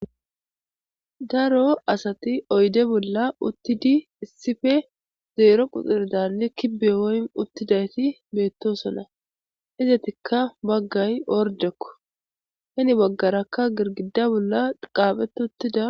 Daro asati oyde bolla uttidi issippe zeero quxirdanne kibbe woym uttidayti beettosona. Izatikka baggay ordekko hini baggarakka girgida bolla qaaphete uttida..